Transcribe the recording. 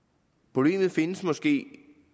problemet findes måske